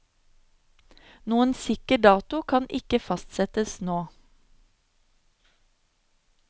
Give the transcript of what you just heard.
Noen sikker dato kan ikke fastsettes nå.